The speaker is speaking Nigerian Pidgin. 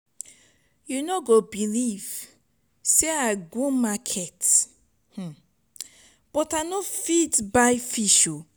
you no go believe say i go market but i no fit buy fish.